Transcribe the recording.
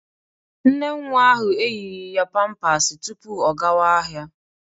Nne nwa ahụ eyighi ya pampas tupu ọ gawa ahịa.